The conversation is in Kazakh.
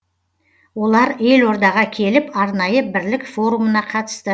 олар елордаға келіп арнайы бірлік форумына қатысты